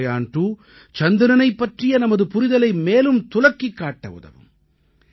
சந்திரயான் 2 சந்திரனைப் பற்றிய நமது புரிதலை மேலும் துலக்கிக் காட்ட உதவும்